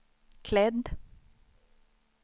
klädd